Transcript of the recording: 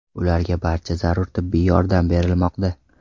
Ularga barcha zarur tibbiy yordam berilmoqda.